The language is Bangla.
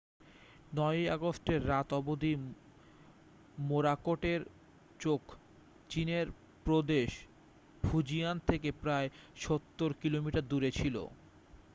9 ই আগস্টের রাত অবধি মোরাকোটের চোখ চীনের প্রদেশ ফুজিয়ান থেকে প্রায় সত্তর কিলোমিটার দূরে ছিল